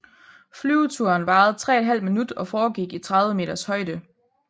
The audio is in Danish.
Flyveturen varede 3½ minut og foregik i 30 meters højde